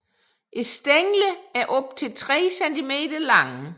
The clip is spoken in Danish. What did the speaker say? Stænglerne er op til 3 cm lange